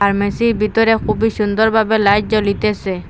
ফার্মেসির ভিতরে খুবই সুন্দরভাবে লাইট জ্বলিতেসে।